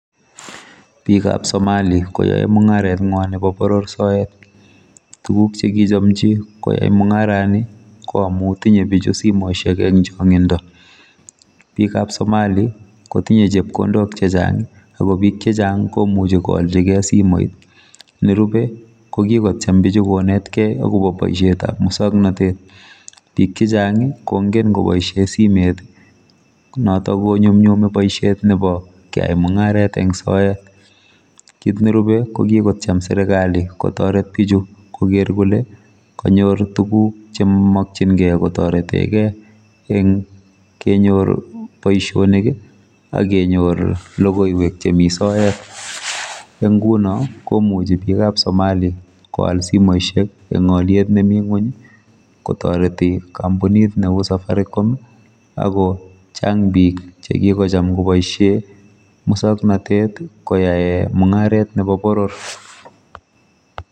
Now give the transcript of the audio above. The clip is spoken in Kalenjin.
Bikab somali koae mungaretngwa nebo boror soet tuguk chekichomji koyai mungarani ko amu tinye pichu simosiek eng changindo pik ab somali kotinye chepkondok chechang akobik checchang komuchi koaljigei simoit nerube kokikotyem bichu konetkei akobo ngalekap muswoknatet bik chechang kongen koboisie simet notok konyumnyumi boisiet nebo keyai mungaret eng soet kit nerube kokikotyem serikali kotoret bichu koker kole kanyor tuguk chemokyingei kotoretegei eng kenyor boisionik akenyor logoiwek chemi soet eng nguno komuchi bikap somali koal simosiek eng oliet nemi ngony kotoreti kampunit neu safaricom akochang bik chekikocham koboisie musoknotet koae mungaret nebo boror.